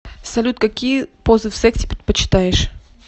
салют какие позы в сексе предпочитаешь